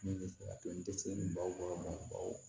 Min bɛ se ka to n tɛ se nin baw ma baw